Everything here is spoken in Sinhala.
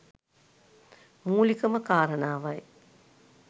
මූලිකම කාරණාවයි